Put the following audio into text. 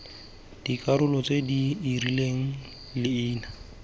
dikarolo tse di rileng leina